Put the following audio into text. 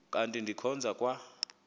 kanti ndikhonza kwa